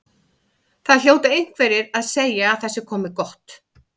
Það hljóta einhverjir að segja að það sé komið gott.